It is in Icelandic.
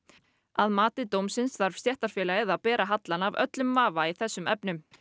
að mati dómsins þarf stéttarfélagið að bera hallann af öllum vafa í þessum efnum